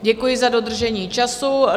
Děkuji za dodržení času.